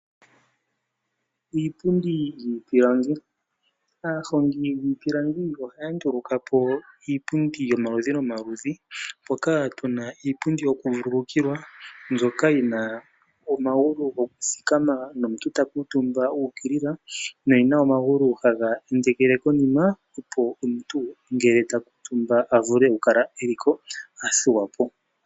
Iipundi yiipilangi aahongi yiipilangi ohaya nduluka po iipundi yomaludhi nomaludhi mpoka tuna iipundi yoku vuululukwilwa mbyoka yina omagulu gokuthikama nomuntu ta kuutumba uukilila, no yina omagulu haga endekele konima opo omuntu ngele takuutumba a vule oku kala eliko athuwa po.